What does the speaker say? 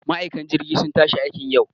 Ma'aikan jirgi sun tashi aikiin yau